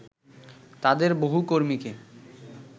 তাদের বহু কর্মীকে